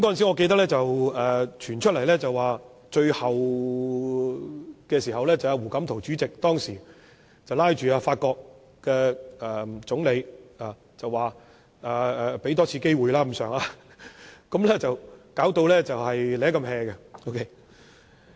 我記得，當時傳出的消息是，最後胡錦濤主席拉着法國總理要求多給香港一次機會，香港才得以解圍，當時情況也頗為狼狽。